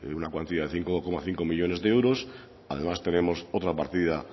una cuantía de cinco coma cinco millónes de euros además tenemos otra partida